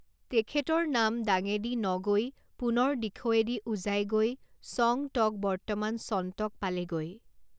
তেখেতৰ নাম দাঙেদি নগৈ পুনৰ দিখৌৱেদি উজাই গৈ ছং টক বৰ্তমান চণ্টক পালেগৈ।